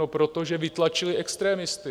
No protože vytlačili extremisty.